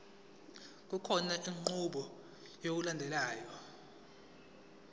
kukhona inqubo yokulandelayo